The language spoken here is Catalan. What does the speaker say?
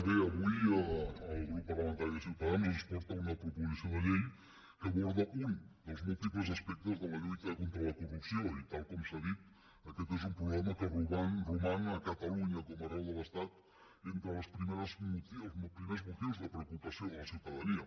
bé avui el grup parlamentari de ciutadans ens porta una proposició de llei que aborda un dels múltiples aspectes de la lluita contra la corrupció i tal com s’ha dit aquest és un problema que roman a catalunya com arreu de l’estat entre els primers motius de preocupació de la ciutadania